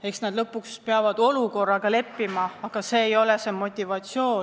Eks nad lõpuks peavad olukorraga leppima, aga see ei ole neile motiveeriv.